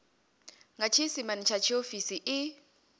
nga tshiisimane tsha tshiofisi i